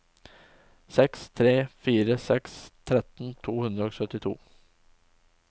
seks tre fire seks tretten to hundre og syttito